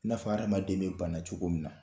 N'a fɔ adamaden bɛ banna cogo min na